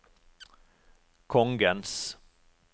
kongens